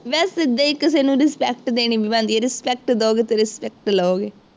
ਵੈਸੇ ਸਿੱਧੇ ਹੀ ਕਿਸੇ ਨੂੰ respect ਦੇਣੀ ਵੀ ਬਣਦੀ ਹੈ, respect ਦਿਉਗੇ ਤਾਂ respect ਲਉਗੇ।